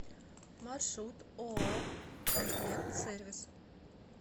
маршрут ооо комплектсервис